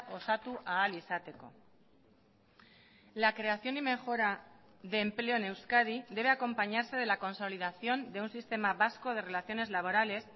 osatu ahal izateko la creación y mejora de empleo en euskadi debe acompañarse de la consolidación de un sistema vasco de relaciones laborales